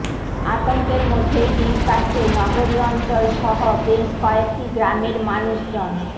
আতঙ্কের মধ্যেই দিন কাটছে নগরী অঞ্চল সহ বেশ কয়েকটি গ্রামের মানুষজন